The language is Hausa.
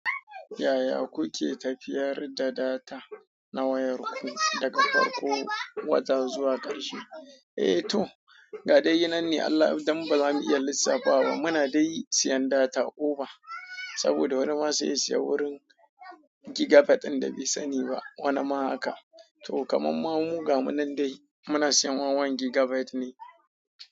Yaya kuke tafiyar da data na wayarku daga farko wata zuwa karshe? Eh to, ga dai yanan ne Allah dan ba zamu iya lissafawa. Muna dai siyan data oba saboda wani ma sai ya siya wurin gigabyte ɗin da bai sani ba, wani ma haka. To kaman ma, mu ga mu nan dai muna siyan wawan gigabyte ne.